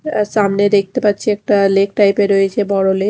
আ সামনে দেখতে পাচ্ছি একটা লেক টাইপের রয়েছে বড়ো লেক ।